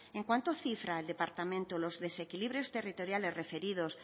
en cuánto cifra el departamento los desequilibrios territoriales referidos